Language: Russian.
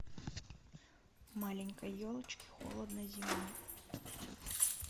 маленькой елочке холодно зимой